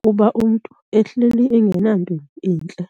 kuba umntu ehleli enganampilo intle.